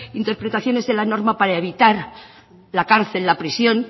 interpretaciones de la norma para evitar la cárcel la prisión